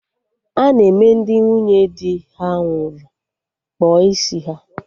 Ana eme Ndị nwunye dị ha nwụrụ kpụọ isi ha